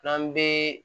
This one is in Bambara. N'an bɛ